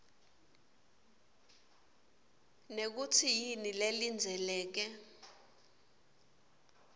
nekutsi yini lelindzeleke